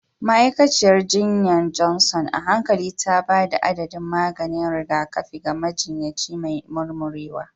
Ma'aikaciyar jinya Johnson a hankali ta ba da adadin maganin rigakafi ga majinyaci mai murmurewa.